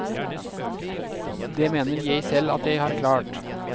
Det mener jeg selv at jeg har klart.